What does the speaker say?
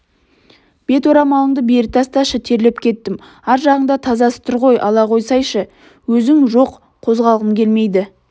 беторамалыңды бері тасташы терлеп кеттім ар жағыңда тазасы тұр ғой ала қойсайшы өзің жоқ қозғалғым келмейді